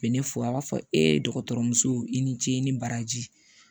U bɛ ne fo a b'a fɔ e dɔgɔtɔrɔ muso i ni ce i ni baraji